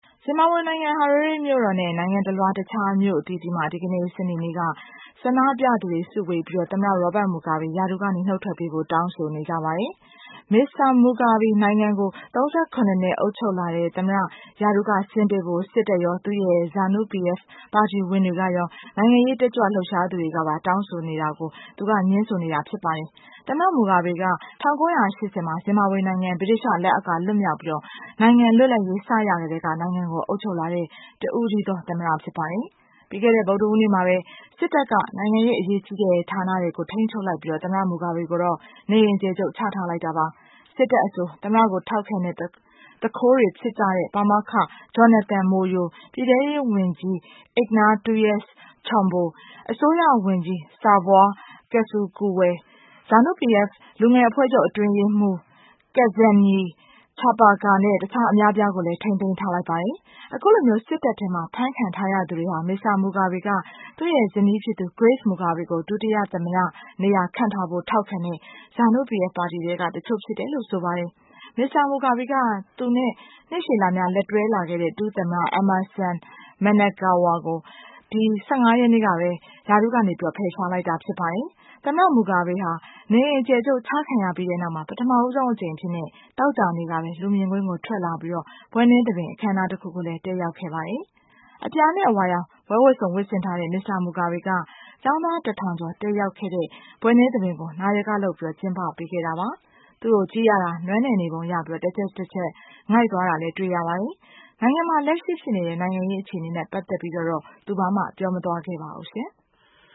ဇင်ဘာဘွေနိုင်ငံ Hararae မြို့တော်နဲ့ နိုင်ငံတလွှား တခြားမြို့အသီးသီးမှာ ဒီကနေ့ စနေနေ့က ဆန္ဒပြသူတွေစုဝေးပြီး သမ္မတ Robert Mugabe ရာထူးက နှုတ်ထွက်ပေးဖို့ တောင်းဆိုနေကြပါတယ်။ Mr. Mugabe နိုင်ငံကို ၃၇ နှစ် အုပ်ချုပ်လာတဲ့ သမ္မတ ရာထူးက ဆင်းပေးဖို့ စစ်တပ်ရော၊ သူ့ရဲ့ ZANU-PF ပါတီဝင်တွေကရော နိုင်ငံရေးတက်ကြွလှုပ်ရှားသူတွေကပါ တောင်းဆိုနေတာကို သူက ငြင်းဆိုနေတာ ဖြစ်ပါတယ်။ သမ္မတ Mugabe က ၁၉၈၀ မှာ Zimbabwe နိုင်ငံ ဗြိတိသျှလက်အောက်က လွတ်မြောက်ပြီး နိုင်ငံ လွတ်လပ်ရေး စရ ကတည်းက နိုင်ငံကို အုပ်ချုပ်လာတဲ့ တဦးတည်းသော သမ္မတ ဖြစ်ပါတယ်။ ပြီးခဲ့တဲ့ ဗုဒ္ဓဟူးနေ့မှာပဲ စစ်တပ်က နိုင်ငံရဲ့ အရေးကြီးတဲ့ ဌာနတွေကို ထိန်းချုပ်လိုက်ပြီး သမ္မတ Mugabe ကိုတော့ နေအိမ်အကျယ်ချုပ်ချထားလိုက်တာပါ။ စစ်တပ်အဆို သမ္မတကို ထောက်ခံတဲ့ သူခိုးတွေဖြစ်ကြတဲ့ ပါမောက္ခ Jonathan Moyo၊ ပြည်ထဲရေးဝန်ကြီး Ignatius Chombo၊ အစိုးရဝန်ကြီး Saviour Kasukuwere၊ ZANU-PF လူငယ်အဖွဲ့ချုပ် အတွင်းရေးမှူး Kudzanayi Chipanga နဲ့ တခြား အများအပြားကိုလည်း ထိန်းသိမ်းထားလိုက် ပါတယ်။ အခုလို စစ်တပ်ထဲမှာ ဖမ်းခံထားရသူတွေဟာ Mr. Mugabe က သူ့ရဲ့ ဇနီးဖြစ်သူ Grace Mugabe ကို ဒုသမ္မတနေရာ ခန့်ထားဖို့ ထောက်ခံတဲ့ ZANU-PF ပါတီထဲက တချို့ဖြစ်တယ်လို့ ဆိုပါတယ်။ Mr. Mugabe က သူနဲ့ နှစ်ရှည်လများလက်တွဲလာတဲ့ ဒု သမ္မတ Emmerson Mnangagwa ကို ဒီလ ၁၅ ရက်နေ့ကပဲ ရာထူးက ဖယ်ရှားလိုက်တာ ဖြစ်ပါတယ်။ သမ္မတ Mugabe ဟာ နေအိမ်အကျယ်ချုပ် ချခံရပြီးနောက် ပထမဆုံးအကြိမ် အဖြစ် သောကြာနေ့ကပဲ လူမြင်ကွင်းကို ထွက်လာပြီး ဘွဲ့နှင်းသဘင် အခန်းအနားတခုကို တက်ရောက်ခဲ့ပါတယ်။ အပြာနဲ့ အဝါရောင် ဘွဲ့ဝတ်စုံ ဝတ်ဆင်တဲ့ Mr. Mugabe က ကျောင်းသားတထောင်ကျော် တက်ရောက်တဲ့ ဘွဲ့နှင်းသဘင်ကို နယာကလုပ် ကျင်းပပေးခဲ့တာပါ။ သူ့ကိုကြည့်ရတာတော့ နွမ်းနယ်နေပုံရပြီး တချက်တချက် ငိုက်သွားတာလည်း တွေ့ရပါတယ်။ နိုင်ငံမှာ လက်ရှိဖြစ်နေတဲ့ နိုင်ငံရေး အခြေအနေနဲ့ ပတ်သတ်ပြီးတော့တော့ ဘာမှ ပြောမသွားခဲ့ပါဘူးရှင်။